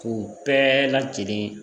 K'u bɛɛ lajɛlen